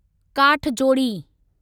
काठजोडी